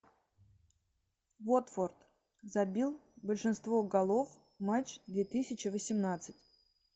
уотфорд забил большинство голов матч две тысячи восемнадцать